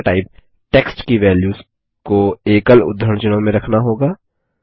हमें data type text की values को एकल उद्धरण चिह्नों में रखना होगी